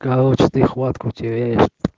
короче ты хватку теряешь